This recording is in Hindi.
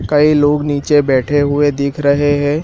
कई लोग नीचे बैठे हुए दिख रहे हैं।